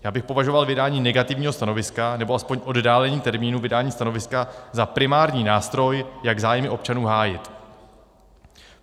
Já bych považoval vydání negativního stanoviska nebo aspoň oddálení termínu vydání stanoviska za primární nástroj, jak zájmy občanů hájit.